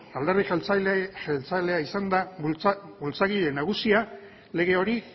alderdi jeltzalea izan da bultzagile nagusia lege hori